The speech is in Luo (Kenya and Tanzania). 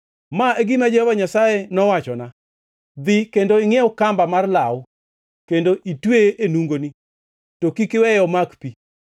Ma e gima Jehova Nyasaye nowachona: “Dhi kendo ingʼiew kamba mar law kendo itweye e nungoni, to kik iweye omak pi.”